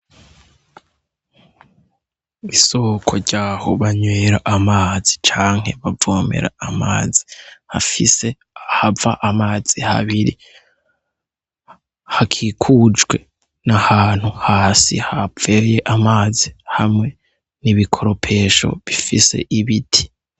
Isoko ryaho banywera amazi canke bavomera amazi hafise ahava amazi habiri, hakikujwe n’ahantu hasi haviriye amazi hamwe n'ibikoropesho bifise ibiti.